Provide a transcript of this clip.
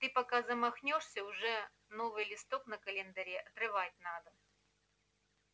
ты пока замахнёшься уже новый листок на календаре отрывать надо